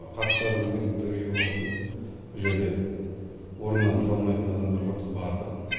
қарттар мүгедектер үйі болғасын бұл жерде орнынан тұра алмайтын адамдарға біз бардық